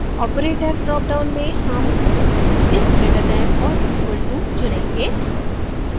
operator dropdown में हम is greater than or equal to चुनेंगे